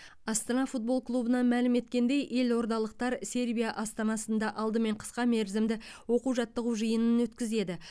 астана футбол клубынан мәлім еткеніндей елордалықтар сербия астанасында алдымен қысқа мерзімді оқу жаттығу жиынын өткізеді